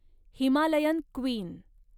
Himalayan queen